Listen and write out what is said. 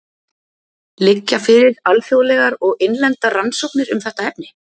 Liggja fyrir alþjóðlegar og innlendar rannsóknir um þetta efni?